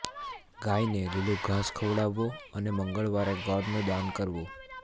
ગાયને લીલુ ઘાસ ખવડાવુ અને મંગળવારે ગોળનું દાન કરવું